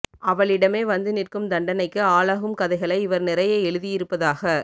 அவளிடமே வந்து நிற்கும் தண்டனைக்கு ஆளாகும் கதைகளை இவர் நிறைய எழுதியிருப்பதாக